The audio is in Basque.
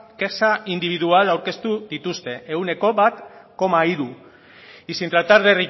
kexa indibidual aurkeztu dituzte ehuneko bat koma hiru y sin tratar de